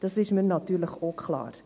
Das ist mir natürlich auch klar.